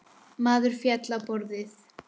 Maður féll á borðið.